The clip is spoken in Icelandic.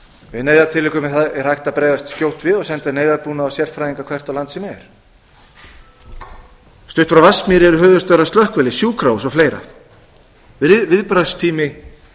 í neyðartilvikum er hægt að bregðast satt á og senda neyðarbúnað og sérfræðinga hvert á land sem er stutt frá vatnsmýri eru höfuðstöðvar slökkviliðs og sjúkrahús og fleira viðbragðstími